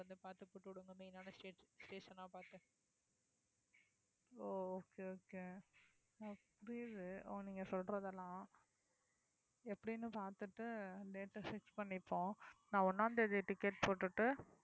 ஓ okay okay okay புரியுது ஓ நீங்க சொல்றதெல்லாம் எப்படின்னு பார்த்துட்டு date அ fix பண்ணிப்போம் நான் ஒண்ணாம் தேதி ticket போட்டுட்டு